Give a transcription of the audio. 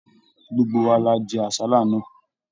Gbogbo wa la jẹ àsálà náà.